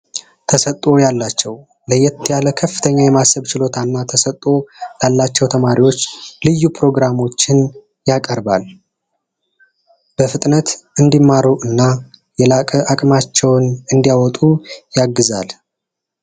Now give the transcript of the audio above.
ተሰጡ ያላቸው ለየት ያለ ከፍተኛ የማሰብ ችሎታ እና ተሰጥቶ ያላቸው ተማሪ ዎች ልዩ ፕሮግራሞችን ያቀርባል በፍጥነት እንዲማሩ እና የላቀ አቅማቸውን እንዲያወጡ ያግዛል